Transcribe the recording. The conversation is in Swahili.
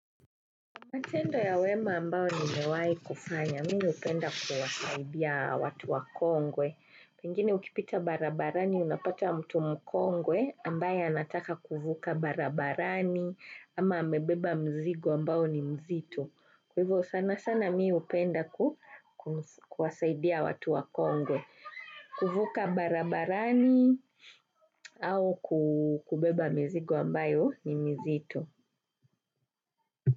Matendo ya wema ambao ni mewai kufanya, mi upenda kuwasaidia watu wakongwe. Pengine ukipita barabarani unapata mtu mkongwe ambaye anataka kuvuka barabarani ama amebeba mzigo ambao ni mzito. Kwa hivyo sana sana mii upenda kuwasaidia watu wa kongwe, kuvuka barabarani au kubeba mzigo ambayo ni mizito.